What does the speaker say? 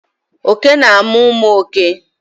oke na amu umu òké